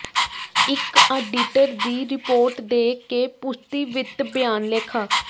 ਇੱਕ ਆਡੀਟਰ ਦੀ ਰਿਪੋਰਟ ਦੇ ਕੇ ਪੁਸ਼ਟੀ ਵਿੱਤ ਬਿਆਨ ਲੇਖਾ